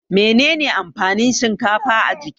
Menene amfanin shinkafa a jiki?